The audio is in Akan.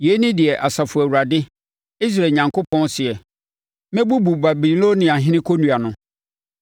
“Yei ne deɛ Asafo Awurade, Israel Onyankopɔn seɛ: ‘Mɛbubu Babiloniahene kɔnnua no.